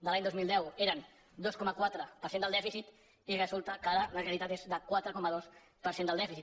de l’any dos mil deu eren dos coma quatre per cent del dèficit i resulta que ara la realitat és de quatre coma dos per cent del dèficit